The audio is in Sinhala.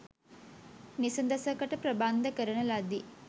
නිසඳසකට ප්‍රබන්ධ කරන ලදී